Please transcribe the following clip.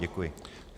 Děkuji.